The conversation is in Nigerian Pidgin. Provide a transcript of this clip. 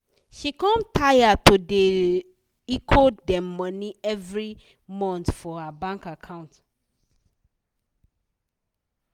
she com taya to da hecho dem money evrey month for her bank account